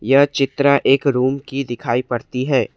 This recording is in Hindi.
यह चित्र एक रूम की दिखाई पड़ती है।